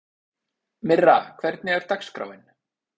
Myrra, hvernig er dagskráin?